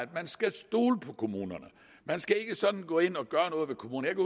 man skal stole på kommunerne man skal ikke sådan gå ind og gøre noget ved kommunerne